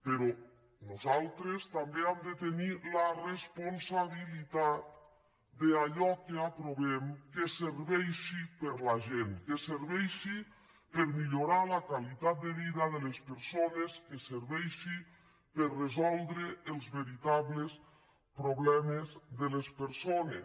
però nosaltres també hem de tenir la respon·sabilitat que allò que aprovem serveixi per a la gent que serveixi per millorar la qualitat de vida de les per·sones que serveixi per resoldre els veritables proble·mes de les persones